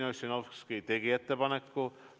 Jevgeni Ossinovski tegi ettepaneku.